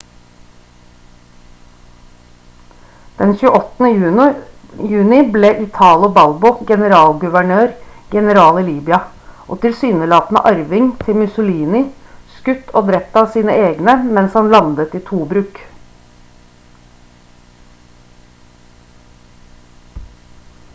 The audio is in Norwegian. den 28. juni ble italo balbo generalguvernør-general i libya og tilsynelatende arving til mussolini skutt og drept av sine egne mens han landet i tobruk